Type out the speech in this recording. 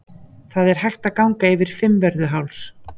Það er hægt að ganga yfir Fimmvörðuháls.